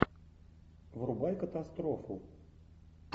врубай катастрофу